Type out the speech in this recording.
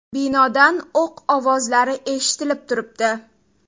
Binodan o‘q ovozlari eshitilib turibdi.